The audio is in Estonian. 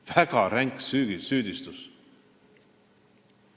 Väga ränk süüdistus.